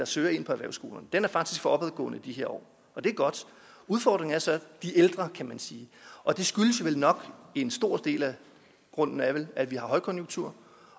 søger ind på erhvervsskolerne den kurve er faktisk for opadgående i de her år og det er godt udfordringen er så de ældre kan man sige og en stor del af grunden er vel at vi har højkonjunktur